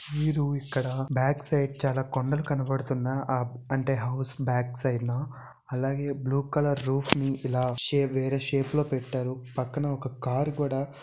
మీరు ఇక్కడ back side చాలా కొండలు కనబడుతున్న అంటే హౌస్ బ్యాక్ సైడ్ నా అలాగే బ్లూ కలర్ రూఫ్ ని ఇలా వేరే షేప్ లో పెట్టారు పక్కన ఒక కార్ కూడా --